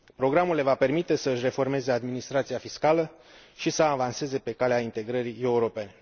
Programul le va permite să își reformeze administrația fiscală și să avanseze pe calea integrării europene.